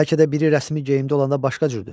Bəlkə də biri rəsmi geyimdə olanda başqa cürdür.